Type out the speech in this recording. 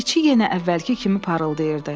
içi yenə əvvəlki kimi parıldayırdı.